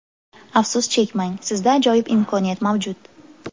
Afsus chekmang, sizda ajoyib imkoniyat mavjud!.